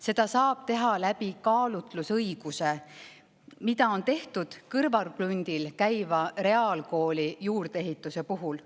Seda saab teha kaalutlusõiguse, mida on kõrvalkrundile reaalkooli juurdeehitise puhul.